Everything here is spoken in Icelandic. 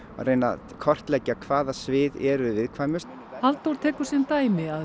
reyna að kortleggja hvaða svið eru viðkvæmust Halldór tekur sem dæmi að